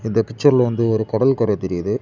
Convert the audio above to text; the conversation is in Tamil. இந்த பிச்சர்ல வந்து ஒரு கடல்கரை தெரியுது.